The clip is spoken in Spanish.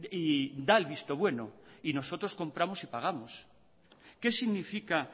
y da el visto bueno y nosotros compramos y pagamos qué significa